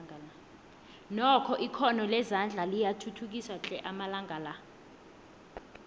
nokho ikhono lezandla liyathuthukiswa tle amalanga la